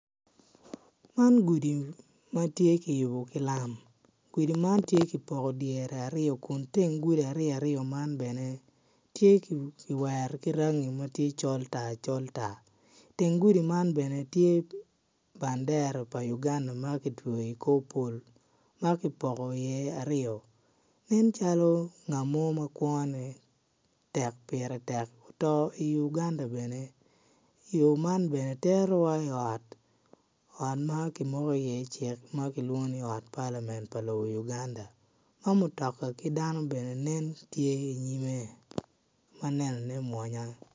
Man gudi matye kiyubo ki lam gudi man tye ki poko dyere aryo kun teng gudi aryo aryo man bene kiwero ki rangi ma col tar col tar teng gudi man bene tye bandera pa lobo Uganda ma kitweyo ikor pol ma kipoko iye aryo ene calo ngat mo ma kworne pire tek oto i Uganda bene yo man bene terowa i ot ma ki moko i iye cik ma kilwongo ni ot palamen pa lobo Uganda dok mutoka ki dano bene nen tye inyime manenone mwonya